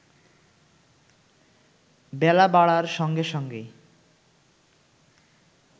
বেলা বাড়ার সঙ্গে সঙ্গে